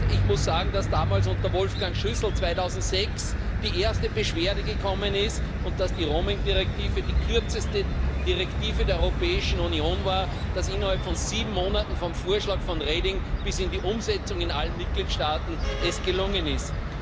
Ich muss sagen, dass damals unter Wolfgang Schüssel 2006 die erste Beschwerde gekommen ist und dass die Roaming Richtlinie die kürzeste Richtlinie der Europäischen Union war, dass es innerhalb von sieben Monaten vom Vorschlag von Reding bis in die Umsetzung in allen Mitgliedstaaten gelungen ist.